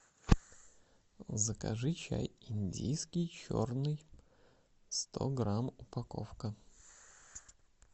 закажи чай индийский черный сто грамм упаковка